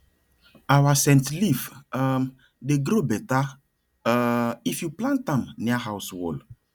our scent leaf um dey grow better um if you plant am near house wall